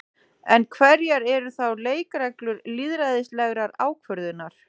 En hverjar eru þá leikreglur lýðræðislegrar ákvörðunar?